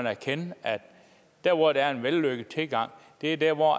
erkende at der hvor der er en vellykket tilgang er der hvor